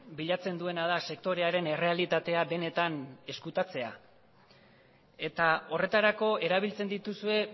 bilatzen duena da sektorearen errealitatea benetan ezkutatzea eta horretarako erabiltzen dituzue